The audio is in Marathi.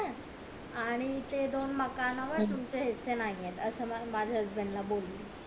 आणि ते दोन माकांवर तुमचे हिस्से नाहीये असं मला माझ्या husbnad ला बोली